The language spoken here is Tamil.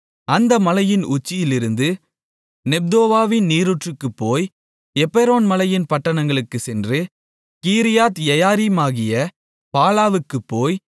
அந்த மலையின் உச்சியிலிருந்து நெப்தோவாவின் நீரூற்றுக்குப் போய் எப்பெரோன் மலையின் பட்டணங்களுக்குச் சென்று கீரியாத்யெயாரீமாகிய பாலாவுக்குப் போய்